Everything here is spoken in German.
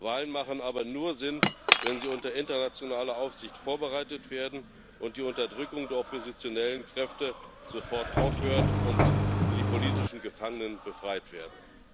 Wahlen ergeben aber nur Sinn, wenn sie unter internationaler Aufsicht vorbereitet werden, die Unterdrückung der oppositionellen Kräfte sofort aufhört und die politischen Gefangenen befreit werden.